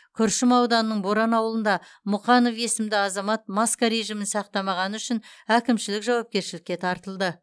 күршім ауданының боран ауылында мұқанов есімді азамат маска режимін сақтамағаны үшін әкімшілік жауапкершілікке тартылды